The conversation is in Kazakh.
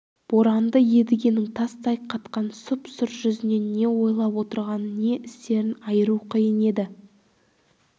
боранды едігенің тастай қатқан сұп-сұр жүзінен не ойлап отырғанын не істерін айыру қиын еді